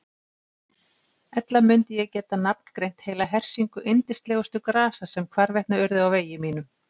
Ella mundi ég geta nafngreint heila hersingu yndislegustu grasa sem hvarvetna urðu á vegi mínum.